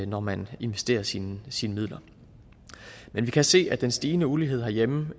når man investerer sine sine midler men vi kan se at den stigende ulighed herhjemme